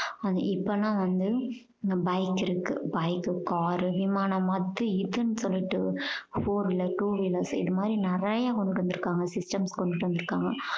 இப்ப எல்லாம் வந்து bike இருக்கு bike உ car உ விமானம் அது இதுன்னு சொல்லிட்டு four wheelers two wheelers இது மாதிரி நிறைய கொண்டுட்டு வந்து இருக்காங்க systems கொண்டுட்டு வந்து இருக்காங்க